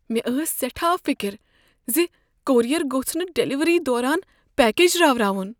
مےٚ ٲس سیٹھاہ فکر ز کوریر گوٚژھ نہٕ ڈلیوری دوران پیکج راوناون۔